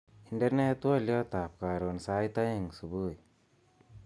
Indenee twoliotab karon sait aeng subui